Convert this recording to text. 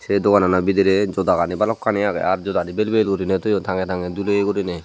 eh doganot bidirey juda gani balukani aage aar juda gani vel vel guri toyon tange tange doliye gurine.